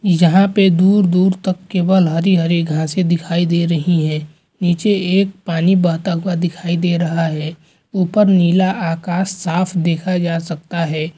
यहाँ पे दूर दूर तक केवल हरी हरी घासे दिखाई दे रही है नीचे एक पानी बहता हुआ दिखाई दे रहा है ऊपर नीला आकाश साफ़ देखा जा सकता है।